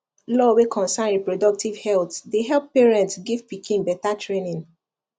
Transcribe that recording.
law wey concern reproductive health dey help parents give pikin better training